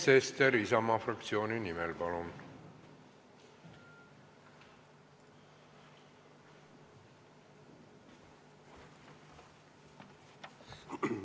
Sven Sester Isamaa fraktsiooni nimel, palun!